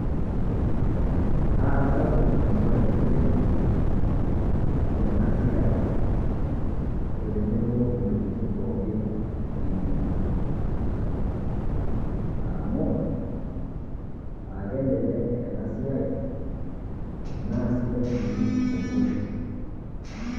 Aara sapuk enchipai oleng tena siai otenebo ntokitin pooki inyi, amu aa kelek ena siai naa sidai sii negool.